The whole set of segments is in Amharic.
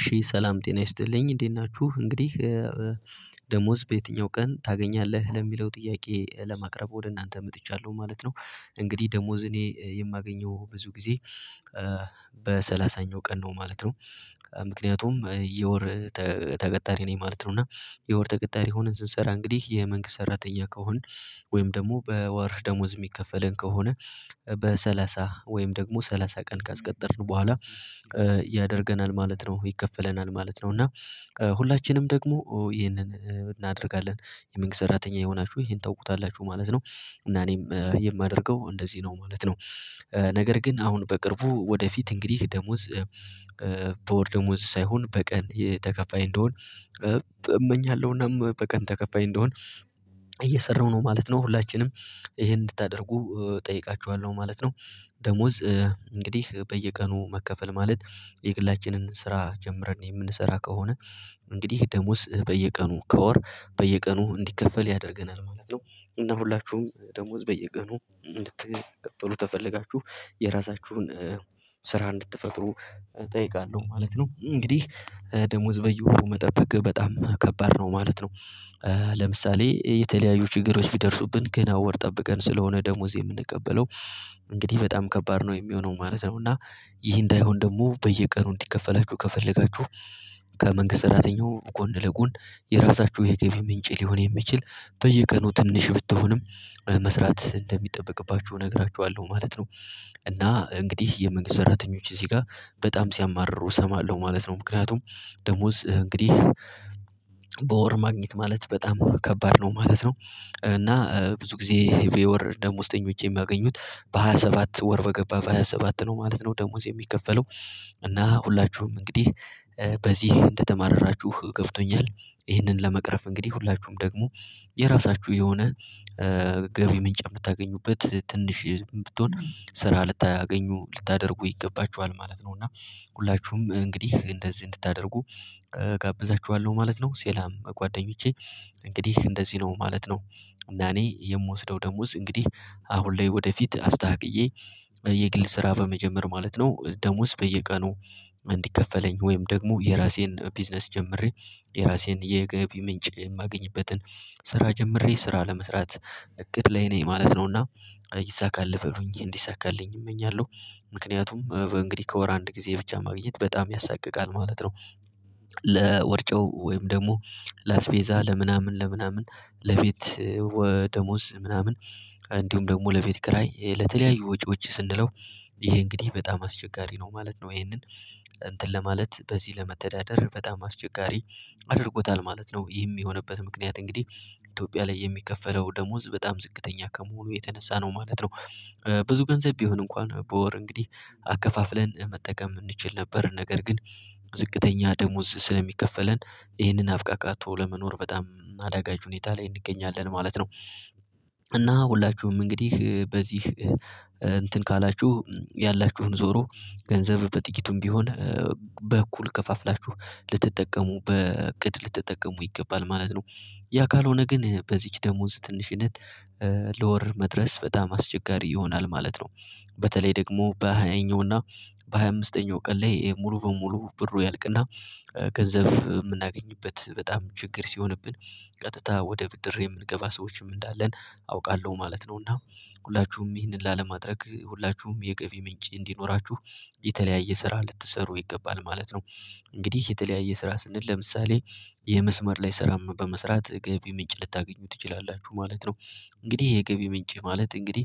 እሺ ሰላም ጤና ይስጥልኝ እንዴት ናችሁ እንግዲህ ደሞዝ በየትኛው ቀን ታገኛለህ ለሚለው ጥያቄ ለማቅረብ ወደ እናንተ መጥቻለሁ ማለት ነው። እንግዲህ ደሞዝ እኔ የማገኘው ብዙ ጊዜ በሰላሳኛው ቀን ነው ማለት ነው። ምክንያቱም የወር ተቀጣሪ ነኝ ማለት ነው። እና የወር ተቀጣሪ ሆነን ስንሰራ እንግዲህ የመንግስት ሰራተኛ ከሆንን ወይም ደግሞ በወር ደሞዝ የሚከፈለን ከሆነ በሰላሳ ወይም ደግሞ ሰላሳ ቀን ካስቀጠርን በኋላ ያደርገናል ማለት ነው። ይከፈለናል ማለት ነው። እና ሁላችንም ደግሞ ይሄንን እናደርጋለን የመንግስት ሰራተኛ የሆናችሁ ይሄን ታውቁታላችሁ ማለት ነው። እና እኔም የማደርገው እንደዚህ ነው ማለት ነው። ነገር ግን አሁን በቅርቡ ወደፊት እንግዲህ ደሞዝ በወር ደሞዝ ሳይሆን በቀን የተከፋይ እንደሆን እመኛለሁና በቀን ተከፋይ እንደሆን እየሰራሁ ነው ማለት ነው። ሁላችንም ይሄን እንድታደርጉ እጠይቃችኋለሁ ማለት ነው። ደሞዝ እንግዲህ በየቀኑ መከፈል ማለት የግላችንን ስራ ጀምረን የምንሰራ ከሆነ። እንግዲህ ደሞዝ በየቀኑ ከወር በየቀኑ እንዲከፈል ያደርገናል ማለት ነው። እና ሁላችሁም ደሞዝ በየቀኑ እንድትቀበሉ ተፈለጋችሁ የራሳችሁን ስራ እንድትፈጥሩ እጠይቃለሁ ማለት ነው። እንግዲህ ደሞዝ በየወሩ መጠበቅ በጣም ከባድ ነው ማለት ነው። ለምሳሌ የተለያዩ ችግሮች ቢደርሱብን ገና ወር ጠብቀን ስለሆነ ደሞዝ የምንቀበለው እንግዲህ በጣም ከባድ ነው የሚሆነው ማለት ነው። እና ይህ እንዳይሆን ደግሞ በየቀኑ እንዲከፈላችሁ ከፈለጋችሁ ከመንግስት ሰራተኛው ጎን ለጎን የራሳችሁ የገቢ ምንጭ ሊሆን የሚችል በየቀኑ ትንሽ ብትሆንም መስራት እንደሚጠበቅባችሁ እነግራችኋለሁ ማለት ነው። እና እንግዲህ የመንግስት ሰራተኞች እዚህ ጋር በጣም ሲያማርሩ እሰማለሁ ማለት ነው። ምክንያቱም ደሞዝ እንግዲህ በወር ማግኘት ማለት በጣም ከባድ ነው ማለት ነው። እና ብዙ ጊዜ የወር ደሞዝተኞች የሚያገኙት በሃያ ሰባ በሃያ ሰባት ወር በገባ ሃያ ሰባት ነው ማለት ነው። ደሞዝ የሚከፈለው እና ሁላችሁም እንግዲህ በዚህ እንደተማረራችሁ ገብቶኛል። ይህንን ለመቅረፍ እንግዲህ ሁላችሁም ደግሞ የራሳችሁ የሆነ ገቢ ምንጭ የምታገኙበት ትንሽ የምትሆን ስራ ልታገኙ ልታደርጉ ይገባችዋል ማለት ነው። እና ሁላችሁም እንግዲህ እንደዚህ እንድታደርጉ እጋብዛችኋለሁ ማለት ነው። ሰላም ጓደኞቼ እንግዲህ እንደዚህ ነው ማለት ነው። እና እኔ የምወስደው ደሞዝ እንግዲህ አሁን ላይ ወደፊት አስተካክየ የግል ስራ በመጀመር ማለት ነው ደሞዝ በየቀኑ እንዲከፈለኝ ወይም ደግሞ የራሴን ቢዝነስ ጀምሬ የራሴን የገቢ ምንጭ የማገኝበትን ስራ ጀምሬ ስራ ለመስራት እቅድ ላይ ነኝ ማለት ነውና። ይሳካልህ በሉኝ እንዲሳካልኝ እመኛለሁ። ምክንያቱም እንግዲህ ከወር አንድ ጊዜ ብቻ ማግኘት በጣም ያሳቅቃል ማለት ነው። ለወር ጨው ወይም ደግሞ ላስቤዛ ለምናምን ለምናምን ለቤት ደሞዝ ምናምን እንዲሁም ደግሞ ለቤት ኪራይ ለተለያዩ ወጪዎች ስንለው ይሄ እንግዲህ በጣም አስቸጋሪ ነው ማለት ነው። ይሄንን እንትን ለማለት በዚህ ለመተዳደር በጣም አስቸጋሪ አድርጎታል ማለት ነው። ይህም የሆነበት ምክንያት እንግዲህ ኢትዮጵያ ላይ የሚከፈለው ደሞዝ በጣም ዝቅተኛ ከመሆኑ የተነሳ ነው ማለት ነው። ብዙ ገንዘብ ቢሆን እንኳን በወር እንግዲህ አከፋፍለን መጠቀም እንችል ነበር ነገር ግን ዝቅተኛ ደሞዝ ስለሚከፈለን ይህንን አብቃቃቶ ለመኖር በጣም አደጋች ሁኔታ ላይ እንገኛለን ማለት ነው። እና ሁላችሁም እንግዲህ በዚህ እንትን ካላችሁ ያላችሁን ዞሮ ገንዘብ በጥቂቱም ቢሆን በእኩል ከፋፍላችሁ ልትጠቀሙ በእቅድ ልትጠቀሙ ይገባል ማለት ነው። ያ ካልሆነ ግን በዚች ደሞዝ ትንሽነት ለወር መድረስ በጣም አስቸጋሪ ይሆናል ማለት ነው። በተለይ ደግሞ በሃያኛው እና በሃያ አምስተኛው ቀን ላይ ሙሉ በሙሉ ብሩ ያልቅና ገንዘብ የምናገኝበት በጣም ችግር ሲሆንብን ቀጥታ ወደ ብድር የምንገባ ሰዎችም እንዳለን አውቃለሁ ማለት ነውና። ሁላችሁም ይህንን ላለማድረግ ሁላችሁም የገቢ ምንጭ እንዲኖራችሁ የተለያየ ስራ ልትሰሩ ይገባል ማለት ነው። እንግዲህ የተለያየ ስራ ስንል ለምሳሌ የመስመር ላይ ስራ በመስራት ገቢ ምንጭ ልታገኙ ትችላላችሁ ማለት ነው። እንግዲህ የገቢ ምንጭ ማለት እንግዲህ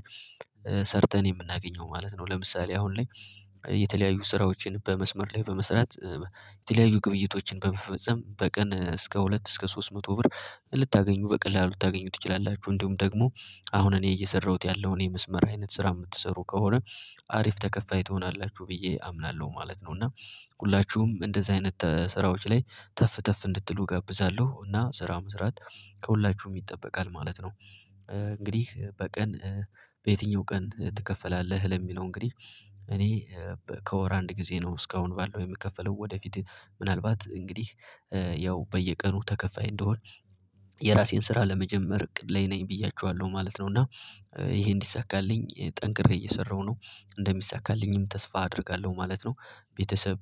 ሰርተን የምናገኘው ማለት ነው። ለምሳሌ አሁን ላይ የተለያዩ ስራዎችን በመስመር ላይ በመስራት የተለያዩ ግብይቶችን በመፈጸም በቀን እስከ ሁለት እስከ ሶስት መቶ ብር ልታገኙ በቀላሉ ታገኙት ትችላላችሁ። እንዲሁም ደግሞ አሁን እኔ እየሰራሁት ያለውን የመስመር አይነት ስራ የምትሰሩ ከሆነ አሪፍ ተከፋይ ትሆናላችሁ ብዬ አምናለሁ ማለት ነው። እና ሁላችሁም እንደዚህ አይነት ስራዎች ላይ ተፍ ተፍ እንድትሉ እጋብዛለሁ እና ስራ መስራት ከሁላችሁም ይጠበቃል ማለት ነው። እንግዲህ በቀን በየትኛው ቀን ትከፈላለህ? ለሚለው እንግዲህ እኔ ከወር አንድ ጊዜ ነው እስካሁን ባለው የምከፈለው ወደፊት ምናልባት እንግዲህ ያው በየቀኑ ተከፋይ እንደሆን የራሴን ስራ ለመጀመር እቅድ ላይ ነኝ ብያችኋለሁ ማለት ነው። እና ይሄ እንዲሳካልኝ ጠንክሬ እየሰራሁ ነው። እንደሚሳካልኝም ተስፋ አደርጋለሁ ማለት ነው። ቤተሰብ